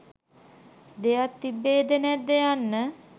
දෙයක් තිබේද නැද්ද යන්න